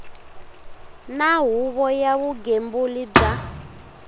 na huvo ya vugembuli bya